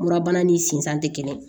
Murabana ni sinzan tɛ kelen ye